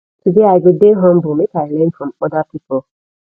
today i go dey humble make i learn from oda pipo